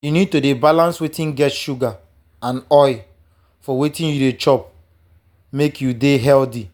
you need to dey balance wetin get sugar and oil for wetin you dey chop make you dey healthy.